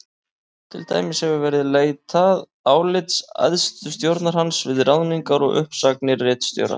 Til dæmis hefur verið leitað álits æðstu stjórnar hans við ráðningar og uppsagnir ritstjóra.